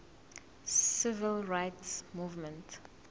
civil rights movement